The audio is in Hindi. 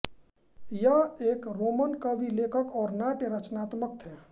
ये एक रोमन कवि लेखक और नाट्य रच्नात्मक थे